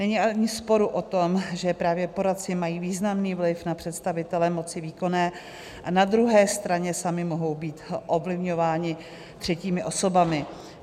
Není ani sporu o tom, že právě poradci mají významný vliv na představitele moci výkonné, a na druhé straně sami mohou být ovlivňováni třetími osobami.